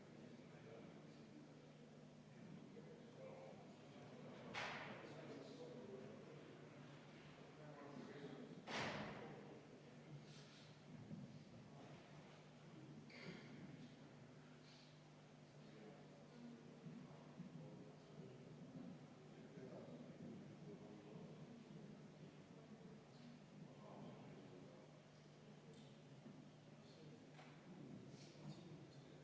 Kui me vaatame seda, siis justkui puudutaks see teema ehitusvaldkonda, kus on andmete registrisse kandmised ja muud sätted, kuidas töövõtuahela ja töötamise kestuse andmekogu töötab.